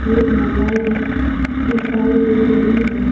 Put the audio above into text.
और मालाएं भी दिखाई दे रही है।